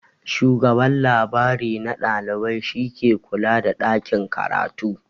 Shugaban labrari na ɗalibai shi ke kula da ɗakin karatu.